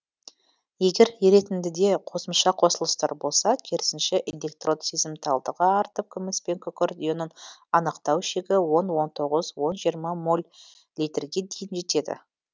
егер еретіндіде қосымша қосылыстар болса керісінше электрод сезімталдығы артып күміс пен күкірт ионын анықтау шегі он он тоғыз он жиырма моль литрге дейін жетеді